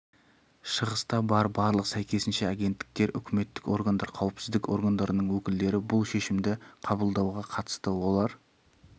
шығыста бар барлық сәйкесінше агенттіктер үкіметтік органдар қауіпсіздік органдарының өкілдері бұл шешімді қабылдауға қатысты олар